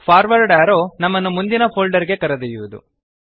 forward arrow ನಮ್ಮನ್ನು ಮುಂದಿನ folder ಗೆ ಕರೆದೊಯ್ಯುವದು